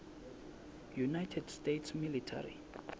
united states military